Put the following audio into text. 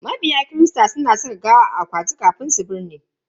Mabiya kirista suna saka gawa a akwati kafin a binne.